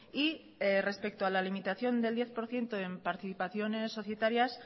y respecto a la limitación del diez por ciento en participaciones societarias